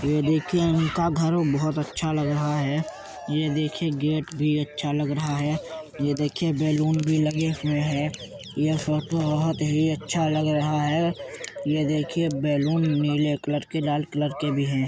ये देखिए इनका घर बोहोत अच्छा लग रहा है। ये देखिए गेट भी अच्छा लग रहा है। ये देखिए बैलून भी लगे हुए हैं। ये फोटो बोहोत ही अच्छा लग रहा है। ये देखिए बैलून नीले कलर के लाल कलर के भी हैं।